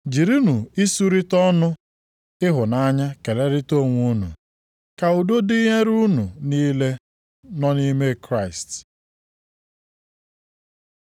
Jirinụ isurita ọnụ ịhụnanya kelerịta onwe unu. Ka udo dịnyere unu niile nọ nʼime Kraịst.